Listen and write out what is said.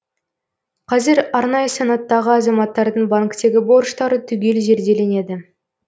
қазір арнайы санаттағы азаматтардың банктегі борыштары түгел зерделенеді